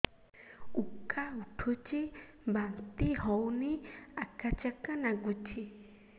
ଉକା ଉଠୁଚି ବାନ୍ତି ହଉନି ଆକାଚାକା ନାଗୁଚି